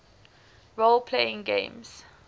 role playing games